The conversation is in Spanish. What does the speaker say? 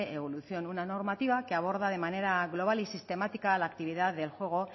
evolución una normativa que aborda de manera global y sistemática la actividad del juego